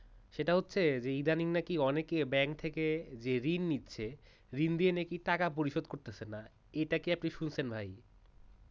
সেটা হচ্ছে ইদানিং নাকি অনেকেই bank থেকে যে ঋণ নিচ্ছে ঋণ নিয়ে নাকি টাকা পরিশোধ করছে না এটা কি আপনি শুনছেন ভাই?